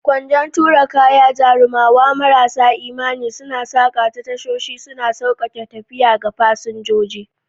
Kwando tura kaya, jarumawa marasa imani, suna saƙa ta tashoshi, suna sauƙaƙe tafiya ga fasinjoji.